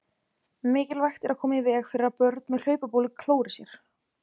Mikilvægt er að koma í veg fyrir að börn með hlaupabólu klóri sér.